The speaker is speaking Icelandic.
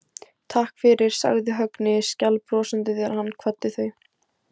Takk fyrir, sagði Högni skælbrosandi þegar hann kvaddi þau.